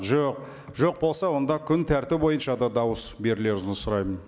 жоқ жоқ болса онда күн тәртібі бойынша да дауыс берулеріңізді сұраймын